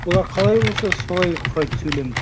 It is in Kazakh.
олар қалай болса солай құрайды сөйлемді